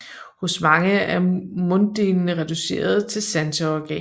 Hos mange er munddelene reduceret til sanseorganer